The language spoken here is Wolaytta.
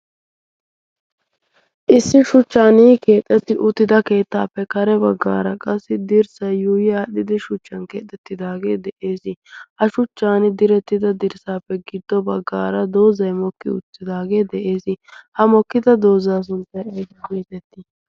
issi shuchchan keexxetti uttida keettaappe kare baggaara qassi dirssa yuuyi aadhdhidi shuchchan keexxettidaagee de7ees ha shuchchan direttida dirssaappe giddo baggaara doozai mokki uttidaagee de7ees ha mokkida doozaa sunxtay ay kiitettii?